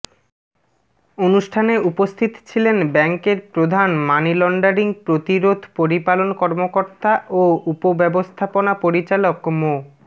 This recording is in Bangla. অনুষ্ঠানে উপস্থিত ছিলেন ব্যাংকের প্রধান মানিলন্ডারিং প্রতিরোধ পরিপালন কর্মকর্তা ও উপব্যবস্থাপনা পরিচালক মো